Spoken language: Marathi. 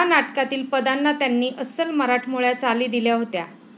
ह्या नाटकातील पदांना त्यांनी अस्सल मराठमोळ्या चाली दिल्या होत्या.